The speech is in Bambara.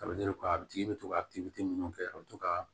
a tigi bɛ to ka minnu kɛ a bɛ to ka